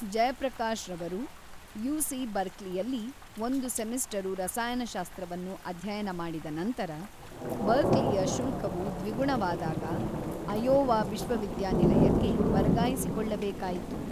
ಜಯಪ್ರಕಾಶ್‌ರವರು UC. ಬರ್ಕ್ಲಿಯಲ್ಲಿ ಒಂದು semester ರಸಾಯನಶಾಸ್ತ್ರವನ್ನು ಅಧ್ಯಯನ ಮಾಡಿದ ನಂತರ, ಬರ್ಕ್ಲಿಯ ಶುಲ್ಕವು ದ್ವಿಗುಣವಾದಾಗ ಅಯೋವಾ ವಿಶ್ವವಿದ್ಯಾನಿಲಯಕ್ಕೆ ವರ್ಗಾಯಿಸಿಕೊಳ್ಳಬೇಕಾಯಿತು.